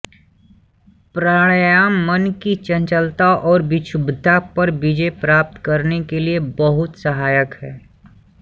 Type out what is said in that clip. प्राणायाम मन की चंचलता और विक्षुब्धता पर विजय प्राप्त करने के लिए बहुत सहायक है